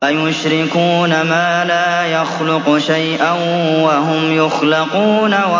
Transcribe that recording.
أَيُشْرِكُونَ مَا لَا يَخْلُقُ شَيْئًا وَهُمْ يُخْلَقُونَ